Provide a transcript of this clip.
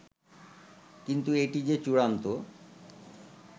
কিন্তু এটি যে চূড়ান্ত